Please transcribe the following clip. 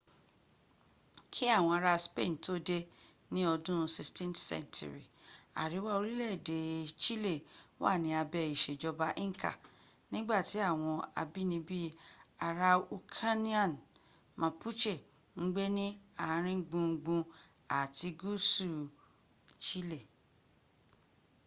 ki awon ara spain to de ni odun 16th century ariwa orile ede chile wa ni abe isejoba inca nigbati awon abinibi araucanians mapuche n gbe ni aringbungbun ati guusu chile